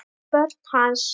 Börn hans.